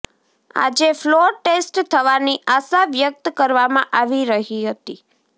આજે floor test થવાની આશા વ્યક્ત કરવામાં આવી રહી હતી